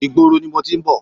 Ìgboro ni mo ti ń bọ̀.